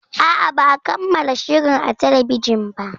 A'a, ba a kammala shirin a talbijin ba.